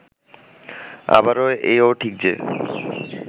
আবার এও ঠিক যে